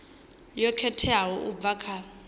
yo khetheaho u bva kha